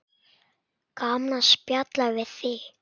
Gaman að spjalla við þig.